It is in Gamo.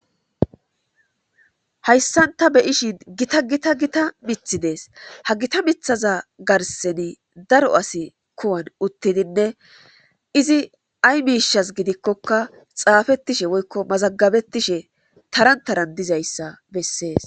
hayssan ta beyishin gita gita gita mithi dees ha gita mithaza garseni daro asi kuwan uttidinne izi ay miishas gidikkoka xaafettishe woykko mazagabettishe taran taran dizayssa bessees